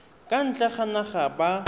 kwa ntle ga naga ba